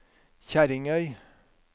Kjerringøy